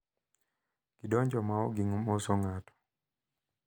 Gidonjo ma ok gimoso ng`ato.